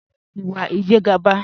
Dúró ìwà Ìjẹ̀gàba